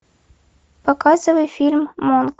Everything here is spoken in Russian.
показывай фильм монк